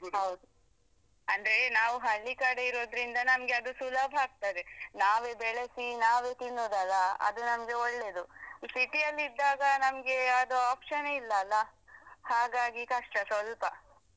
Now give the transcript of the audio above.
ಹೌದು ಅಂದ್ರೇ ನಾವು ಹಳ್ಳಿಕಡೆ ಇರುದ್ರಿಂದ ನಮ್ಗೆ ಅದು ಸುಲಭ ಆಗ್ತಾದೆ ನಾವೆ ಬೆಳೆಸಿ ನಾವೆ ತಿನ್ನೋದಲ್ಲ ಅದು ನಮ್ಗೆ ಒಳ್ಳೇದು ಈ city ಯಲ್ಲಿ ಇದ್ದಾಗ ನಮ್ಗೆ ಅದು option ಎ ಇಲ್ಲಲ್ಲ ಹಾಗಾಗಿ ಕಷ್ಟ ಸ್ವಲ್ಪ.